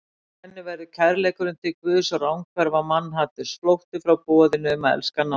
Hjá henni verður kærleikurinn til Guðs ranghverfa mannhaturs, flótti frá boðinu um að elska náungann.